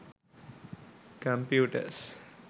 computers